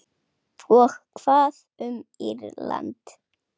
Og hvað um Írland?